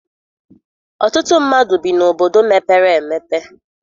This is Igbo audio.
Ọtụtụ mmadụ bi n'obodo mepere emepe